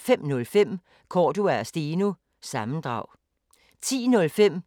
05:05: Cordua & Steno – sammendrag 10:05: